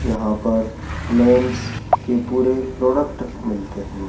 यहां पर मेंस के पूरे प्रोडक्ट मिलते हैं।